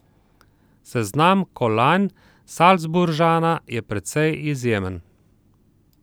Seznam kolajn Salzburžana je precej izjemen.